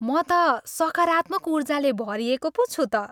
म त सकारात्मक ऊर्जाले भरिएको पो छु त।